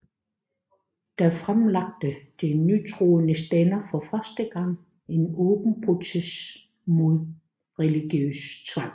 Da fremlagde de nytroende stænder for første gang en åben protest mod religiøs tvang